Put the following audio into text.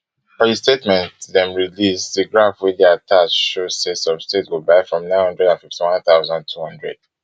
for di statement dem release di graph wey dey attached show say some states go buy from nnine hundred and fiftynone thousand, two hundred